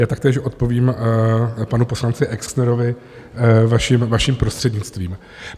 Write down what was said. Já taktéž odpovím panu poslanci Exnerovi, vaším prostřednictvím.